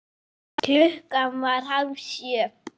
En Áslaugu stökk ekki bros.